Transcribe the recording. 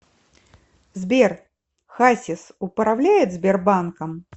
сбер хасис управляет сбербанком